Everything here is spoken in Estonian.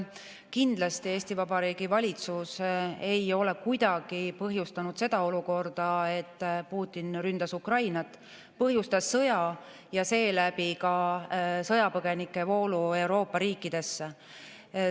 Kindlasti Eesti Vabariigi valitsus ei ole kuidagi põhjustanud seda olukorda, et Putin ründas Ukrainat, põhjustas sõja ja seeläbi ka sõjapõgenike voolu Euroopa riikidesse.